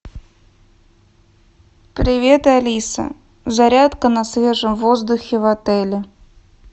привет алиса зарядка на свежем воздухе в отеле